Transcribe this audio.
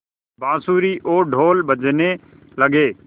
बाँसुरी और ढ़ोल बजने लगे